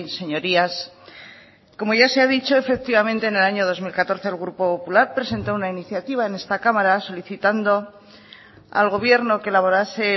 señorías como ya se ha dicho efectivamente en el año dos mil catorce el grupo popular presentó una iniciativa en esta cámara solicitando al gobierno que elaborase